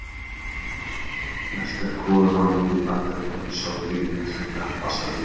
Mest er kolanám nú í Bandaríkjunum, Sovétríkjunum, Kína, Ástralíu